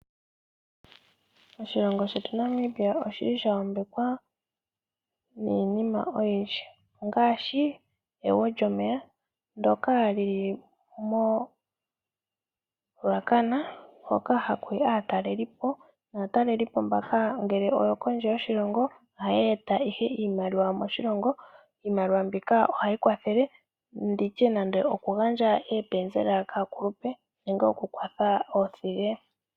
Oshilongo shetu Namibia oshili sha yambekwa niinima oyindji, ngaashi egwo lyomeya ndyoka lili moRuacana hoka ha kuyi aatalelipo. Naatalelipo mbaka oyo kondje yoshilongo, ohaya eta ihe iimaliwa moshilongo. Iimaliwa mbika ohayi kwathele nditye nande oku gandja oopenzela kaakulupe nenge oku kwatha oothige.